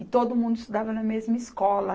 E todo mundo estudava na mesma escola.